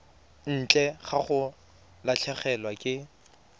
ntle ga go latlhegelwa ke